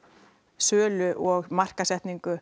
sölumenn og